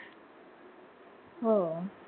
हो